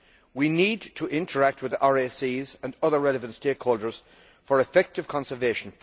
We need to interact with RACs and other relevant stakeholders for effective conservation.